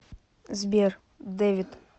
сбер дэвид